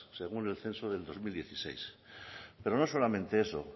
según el censo del dos mil dieciséis pero no solamente eso